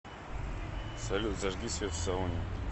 салют зажги свет в сауне